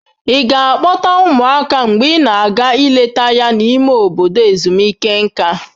Ị ga-akpọta ụmụaka mgbe ị na-aga ileta ya n'ime obodo ezumike nká?